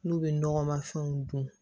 N'u bɛ nɔgɔma fɛnw dun